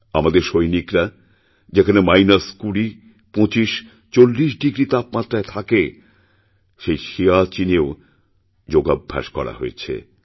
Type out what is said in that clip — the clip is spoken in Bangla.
আমাদের সৈনিকরা যেখানেমাইনাস কুড়ি পঁচিশ চল্লিশ ডিগ্রী তাপমাত্রায় থাকে সেই সিয়াচিনেও যোগাভ্যাস করাহয়েছে